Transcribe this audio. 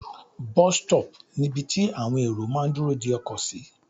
Bus stop ni ibi tí àwọn èrò máà ń dúró de ọkọ̀ sí.